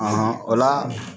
Ahɔn o la